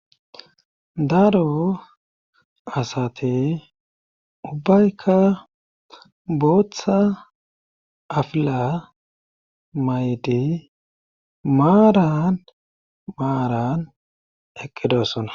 daaro asate ubbaykka booththa afila maydi maaran maaran eqqedosona